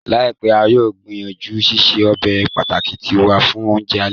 Laipẹ, a yóò gbìyànjú ṣiṣe ọbe pàtàki tiwa fun ounjẹ alẹ.